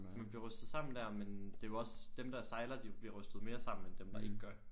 Vi blev rystet sammen der men det var også dem der sejler de bliver rystet mere sammen end dem der ikke gør